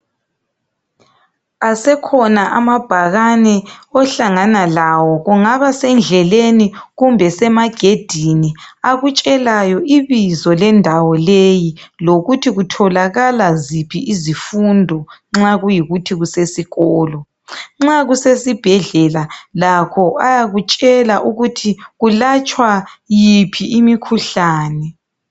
Asekhona amabhakane ohlangana lawo. Kungaba sendleleni kumbe semagedini akutshelayo ibizo lendawo leyi lokuthi kutholakala ziphi izifundo nxa kuyikuthi kusesikolo..nxa kusesibhedlela lakho ayakutshela ukuthi kulatshwa yiphi imikhuhlane.